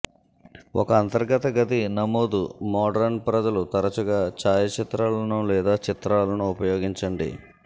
ఒక అంతర్గత గది నమోదు మోడరన్ ప్రజలు తరచుగా ఛాయాచిత్రాలను లేదా చిత్రాలను ఉపయోగించండి